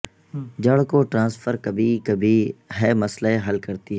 جڑ کو ٹرانسفر کبھی کبھی ہے مسئلہ حل کرتی ہے